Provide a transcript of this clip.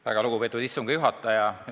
Väga lugupeetud istungi juhataja!